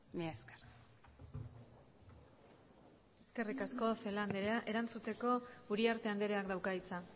mila esker eskerrik asko celaá andrea erantzuteko uriarte andreak dauka hitza